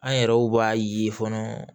An yɛrɛw b'a ye fɔlɔ